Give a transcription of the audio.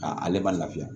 Ka ale ma lafiya